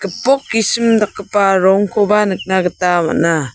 gipok gisim dakgipa rongkoba nikna gita man·a.